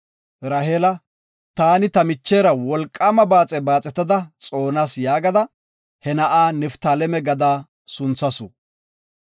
Raheela, “Taani ta michera wolqaama baaxe baaxetada xoonas” yaagada he na7a Niftaaleme gada sunthasu.